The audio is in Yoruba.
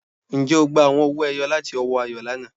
Ǹjẹ́ ó gbà àwọn ọ̀wọ̀-èyò̀ lati ọwọ̀ Àyọ̀ lánà?